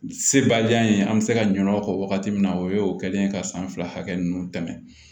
Sebaliya ye an bɛ se ka ɲinɛ o kɔ wagati min na o ye o kɛlen ka san fila hakɛ ninnu tɛmɛ